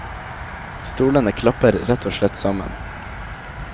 Stolene klapper rett og slett sammen.